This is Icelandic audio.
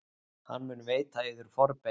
Hann mun veita yður forbeina.